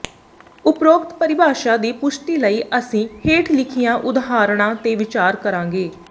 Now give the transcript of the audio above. ਉਪਰੋਕਤ ਪਰਿਭਾਸ਼ਾ ਦੀ ਪੁਸ਼ਟੀ ਲਈ ਅਸੀਂ ਹੇਂਠ ਲਿਖੀਆਂ ਉਦਾਹਰਣਾਂ ਤੇ ਵਿਚਾਰ ਕਰਾਂਗੇ